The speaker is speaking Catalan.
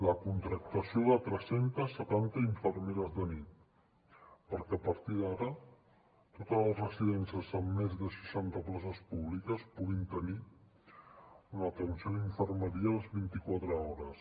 la contractació de tres cents i setanta infermeres de nit perquè a partir d’ara totes les residències amb més de seixanta places públiques puguin tenir una atenció d’infermeria les vint i quatre hores